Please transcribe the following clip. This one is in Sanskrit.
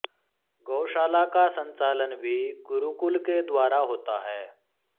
गौशाला का संचालन भी गुरुकुल के द्वारा होता है